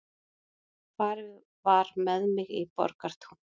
Farið var með mig í Borgartún.